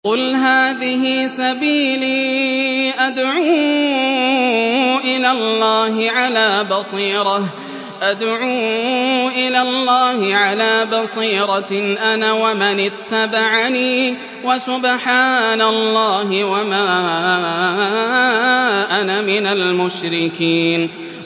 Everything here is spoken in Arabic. قُلْ هَٰذِهِ سَبِيلِي أَدْعُو إِلَى اللَّهِ ۚ عَلَىٰ بَصِيرَةٍ أَنَا وَمَنِ اتَّبَعَنِي ۖ وَسُبْحَانَ اللَّهِ وَمَا أَنَا مِنَ الْمُشْرِكِينَ